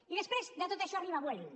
i després de tot això arriba vueling